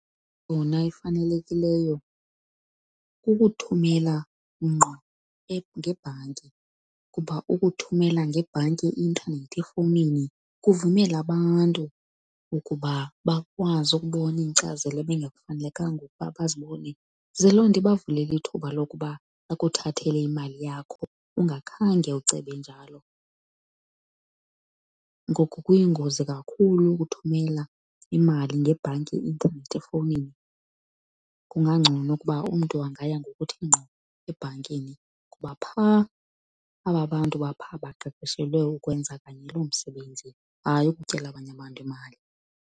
Efanelekileyo kukuthumela ngqo ngebhanki. Kuba ukuthumela ngebhanki yeintanethi efowunini kuvumela abantu ukuba bakwazi ukubona iinkcazelo ebengakufanelekanga ukuba bazibone, ze loo nto ibavulele ithuba lokuba bakuthathele imali yakho ungakhange ucebe njalo. Ngoku kuyingozi kakhulu ukuthumela imali ngebhanki yeintanethi efowunini. Kungangcono ukuba umntu angaya ngokuthe ngqo ebhankini, kuba phaa, aba bantu baphaa baqeqeshelwe ukwenza kanye loo msebenzi, hayi ukutyela abanye abantu imali.